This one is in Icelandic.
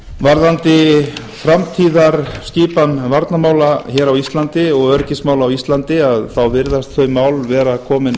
varðandi framtíðarskipan varnarmála hér á íslandi og öryggismál á íslandi þá virðast þau mál vera komin